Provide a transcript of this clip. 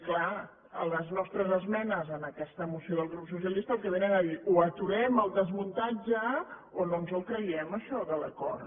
clar les nostres esmenes en aquesta moció del grup socialista el que vénen a dir o aturem el desmuntatge o no ens creiem això de l’acord